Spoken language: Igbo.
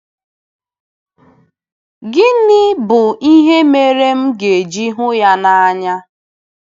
Gịnị bụ ihe mere m ga-eji hụ ya n'anya? ’